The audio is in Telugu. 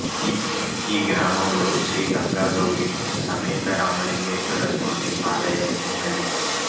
ఈ గ్రామములో శ్రీ గంగా గౌరీ సమేత రామలింగేశ్వర స్వామి ఆలయం ఉన్నది